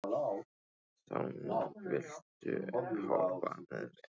Sonný, viltu hoppa með mér?